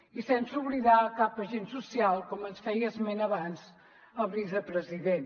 i sense oblidar cap agent social com ens en feia esment abans el vicepresident